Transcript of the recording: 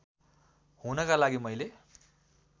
हुनका लागि मैले